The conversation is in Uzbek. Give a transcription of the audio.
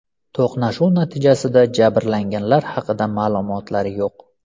To‘qnashuv natijasida jabrlanganlar haqida ma’lumotlar yo‘q.